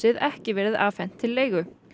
ekki verið afhent til leigu